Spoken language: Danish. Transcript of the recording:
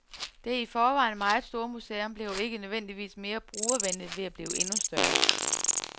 Det i forvejen meget store museum bliver ikke nødvendigvis mere brugervenligt ved at blive endnu større.